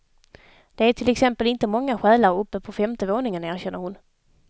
Det är till exempel inte många själar uppe på femte våningen, erkänner hon.